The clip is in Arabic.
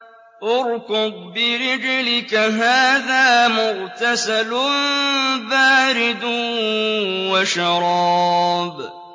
ارْكُضْ بِرِجْلِكَ ۖ هَٰذَا مُغْتَسَلٌ بَارِدٌ وَشَرَابٌ